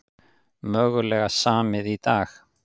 Mögulega samið í dag